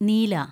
നീല